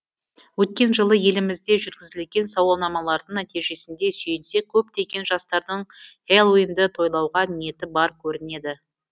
өткен жылы елімізде жүргізілген сауалнамалардың нәтижесіне сүйенсек көптеген жастардың хэллоуинді тойлауға ниеті бар көрінеді